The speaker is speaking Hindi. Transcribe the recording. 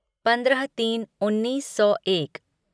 पंद्रह तीन उन्नीस सौ एक